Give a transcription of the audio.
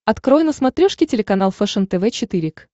открой на смотрешке телеканал фэшен тв четыре к